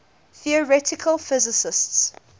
theoretical physicists